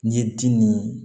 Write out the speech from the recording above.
N'i ye di nin